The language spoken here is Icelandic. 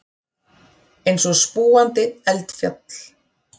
Eins og spúandi eldfjall.